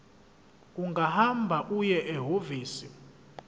ungahamba uye ehhovisi